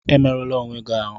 Emerụla onwe gị ahụ!